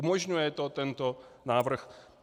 Umožňuje to tento návrh?